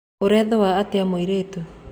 Ũraĩthũa atĩa mũirĩtu.